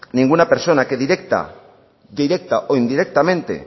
ninguna persona que directa o indirectamente